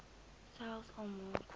selfs al maak